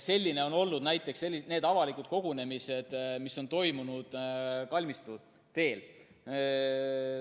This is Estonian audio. Sellised on olnud näiteks need avalikud kogunemised, mis on toimunud Kalmistu teel.